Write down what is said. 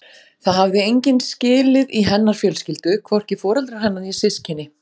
Það hafði enginn skilið í hennar fjölskyldu, hvorki foreldrar hennar né systkini.